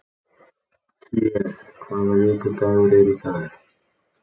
Hlér, hvaða vikudagur er í dag?